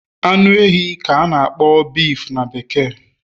Anu ehi ka a na-akpọ beef na bekee